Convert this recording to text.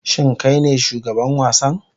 Shin kai ne shugaban wasan?